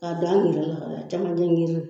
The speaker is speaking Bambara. K'a don an yɛrɛ la a camancɛ